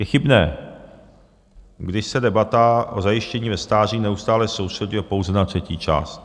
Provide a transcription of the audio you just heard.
Je chybné, když se debata o zajištění ve stáří neustále soustřeďuje pouze na třetí část.